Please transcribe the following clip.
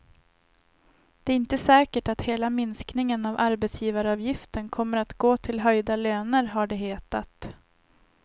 Det är inte säkert att hela minskningen av arbetsgivaravgiften kommer att gå till höjda löner, har det hetat.